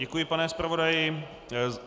Děkuji, pane zpravodaji.